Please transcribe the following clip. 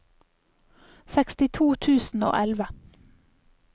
sekstito tusen og elleve